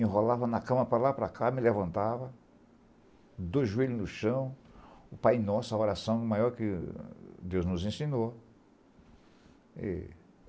rolava na cama para lá e para cá, me levantava, dois joelhos no chão, o Pai Nosso, a oração maior que Deus nos ensinou. E